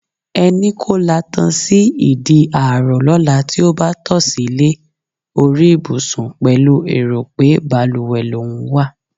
E̩ni kó latan sí ìdí ààrò ló̩la tí ó bá to̩ silé orí ìbùsùn pè̩lú èrò pé balùwè lòún wa.